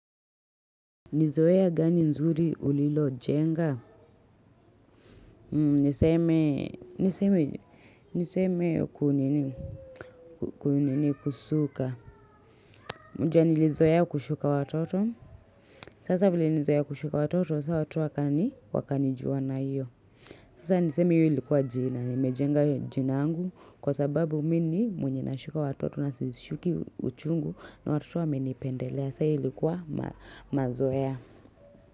Nizoea gani nzuri ulilo jenga, niseme kuunini kuunini kusuka, mnjua nilizoea kushuka watoto, sasa vile nilizoea kushuka watoto, sasa watu wakanijuwa na iyo. Sasa niseme iyo ilikuwa jina, nimejenga jina angu kwa sababu mini mwenye nashuka watoto na sishuki uchungu na watu wamenipendelea, sasa ilikuwa mazoea.